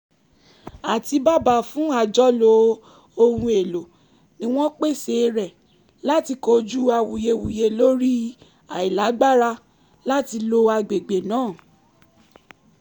àtíbàbà fún àjọlo ohun èlò ni wọ́n pèsè rẹ̀ láti kojú awuyewuye lórí àìlágbára láti lo agbègbè náà